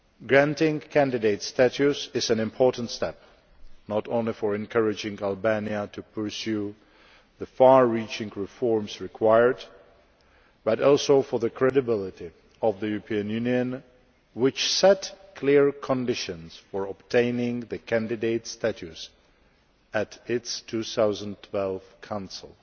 Granting candidate status is an important step, not only for encouraging Albania to pursue the far reaching reforms required, but also for the credibility of the European Union, which set clear conditions for obtaining the candidate status at its 2012 Council.